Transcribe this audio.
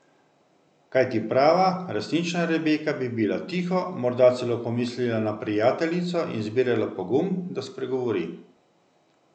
Kajti prava, resnična Rebeka bi bila tiho, morda celo pomislila na prijateljico in zbirala pogum, da spregovori.